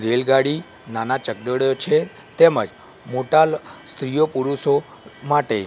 રેલગાડી નાના ચકડોળ છે તેમજ મોટા સ્ત્રીઓ પુરુષો માટે--